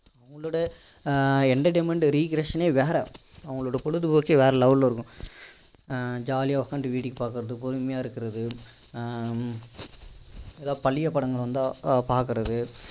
ஆஹ் entertainment recreation னே வேற அவங்க பொழுதுபோக்கே வேற level ல இருக்கும் jolly யா உட்கார்ந்துட்டு வேடிக்கை பார்க்கிறது பொறுமையா இருக்கிறது ஆஹ் ஏதாவது பழைய படங்கள் வந்தா பார்க்கிறது